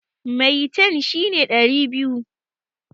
Maitan shi ne ɗari biyu.